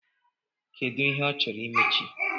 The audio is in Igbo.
Kedu ihe ọ chọrọ imechi?